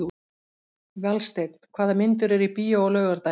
Valsteinn, hvaða myndir eru í bíó á laugardaginn?